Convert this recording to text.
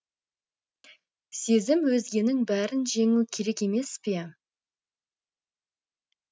сезім өзгенің бәрін жеңу керек емес пе